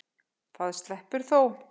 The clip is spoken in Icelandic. Það sleppur þó.